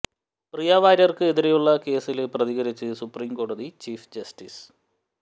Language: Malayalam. പ്രിയ വാര്യര്ക്ക് എതിരെയുള്ള കേസില് പ്രതികരിച്ച് സുപ്രീം കോടതി ചീഫ് ജസ്റ്റിസ്